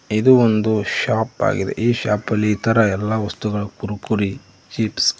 ಇದು ಒಂದು ಶಾಪ್ ಆಗಿದೆ ಈ ಶಾಪ್ ಅಲ್ಲಿ ಇತರ ಎಲ್ಲಾ ವಸ್ತುಗಳು ಕುರ್ಕುರೆ ಚಿಪ್ಸ್ --